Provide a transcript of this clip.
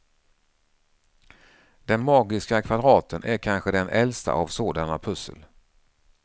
Den magiska kvadraten är kanske den äldsta av sådana pussel.